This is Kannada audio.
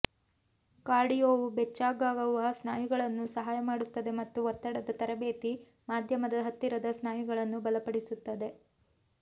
ಕಾರ್ಡಿಯೋವು ಬೆಚ್ಚಗಾಗುವ ಸ್ನಾಯುಗಳನ್ನು ಸಹಾಯ ಮಾಡುತ್ತದೆ ಮತ್ತು ಒತ್ತಡದ ತರಬೇತಿ ಮಾಧ್ಯಮದ ಹತ್ತಿರದ ಸ್ನಾಯುಗಳನ್ನು ಬಲಪಡಿಸುತ್ತದೆ